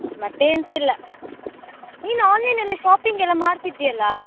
ಮತ್ತೆ ಏನ್ಸ ಇಲ್ಲ, ನೀನು online ಎಲ್ಲ shopping ಎಲ್ಲ ಮಾಡ್ತಾ ಇದ್ದಿ ಅಲ್ಲ.